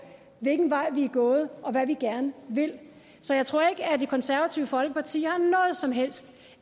hvilken vej vi er gået og hvad vi gerne vil så jeg tror ikke at det konservative folkeparti har noget som helst